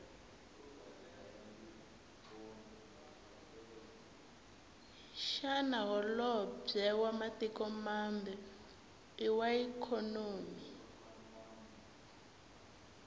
shana hholobwe wamatiko mambe iwaikonomi